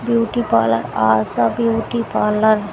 beauty parlour Asha beauty parlour --